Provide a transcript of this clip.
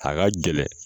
A ka gɛlɛn